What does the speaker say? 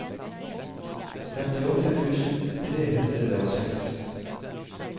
femtiåtte tusen tre hundre og seks